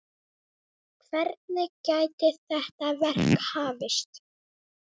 Hvenær gæti þetta verk hafist?